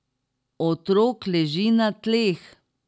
Otrok leži na tleh!